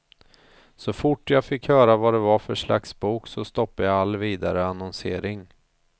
Så fort jag fick höra vad det var för slags bok så stoppade jag all vidare annonsering.